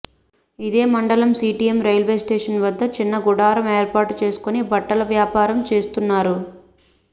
ఇదే మండలం CTM railway station వద్ద చిన్న గుడారం ఏర్పాటు చేసుకుని బట్టల వ్యాపారం చేస్తున్నారు